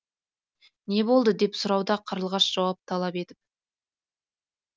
не болды деп сұрауда қарлығаш жауап талап етіп